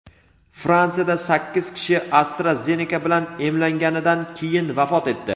Fransiyada sakkiz kishi AstraZeneca bilan emlanganidan keyin vafot etdi.